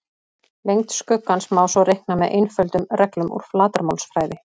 Lengd skuggans má svo reikna með einföldum reglum úr flatarmálsfræði.